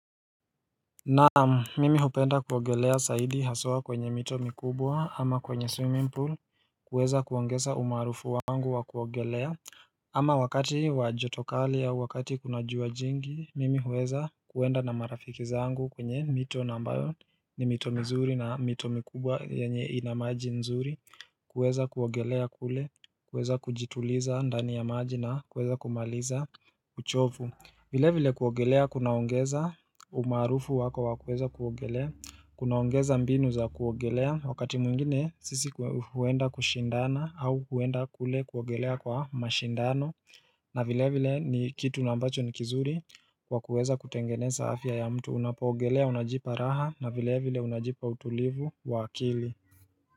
Nam, mimi hupenda kuogelea zaidi haswa kwenye mito mikubwa ama kwenye swimming pool kuweza kuongeza umaarufu wangu wa kuogelea ama wakati wa joto kali au wakati kuna jua jingi mimi huweza kuenda na marafiki zangu kwenye mito na ambayo ni mito mzuri na mito mikubwa yanye ina maji nzuri kuweza kuogelea kule kuweza kujituliza ndani ya maji na kuweza kumaliza uchovu. Vile vile kuogelea kunaongeza umaarufu wako wa kuweza kuogelea Kunaongeza mbinu za kuogelea wakati mwingine sisi huenda kushindana au huenda kule kuogelea kwa mashindano na vile vile ni kitu na ambacho ni kizuri kwa kuweza kutengeneza afya ya mtu Unapoogelea unajipa raha na vile vile unajipa utulivu wa kili.